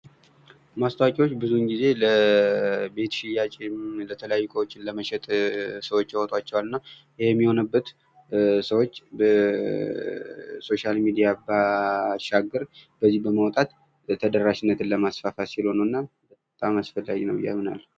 ማስታወቂያዎች ጊዜ ለቤት ሽያጭ እንዲሁም የተለያዩ እቃዎችን ለመሸጥ ሰዎች ያወጣቸዋል። እና ይህም የሆነበት ሰዎች ከ ሶሻል ሚዲያ ባሻገር በዚህ በማውጣት ተደራሽነትን ለማስፋፋት ሲሉ ነው። እና በጣም አስፈላጊ ነው ብዬ አምናለሁ።